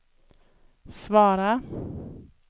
svara